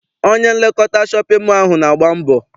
Onye nlekọta shọpịn mọọ ahụ na-agba mbọ.